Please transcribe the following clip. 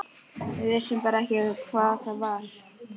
Við vissum bara ekki hvað það var.